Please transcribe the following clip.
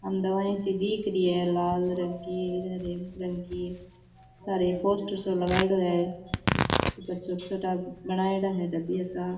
अन दवाईया सी दीख री है लाल रंग की हरे रंग की सारे एक पोस्टर सो लगायेड़ो है ऊपर छोटा छोटा बनायेडा है डाबिया सा।